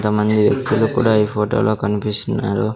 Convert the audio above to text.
కొంతమంది వ్యక్తులు కూడా ఈ ఫోటో లో కనిపిస్తున్నారు.